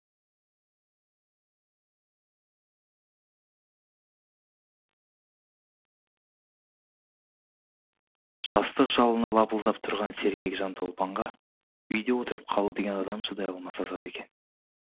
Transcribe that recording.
жастық жалыны лапылдап тұрған сергек жанды ұлпанға үйде отырып қалу деген адам шыдай алмас азап екен